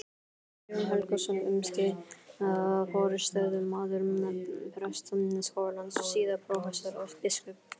Jón Helgason, um skeið forstöðumaður Prestaskólans, síðar prófessor og biskup.